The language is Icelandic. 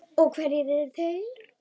Og hverjir eru þeir?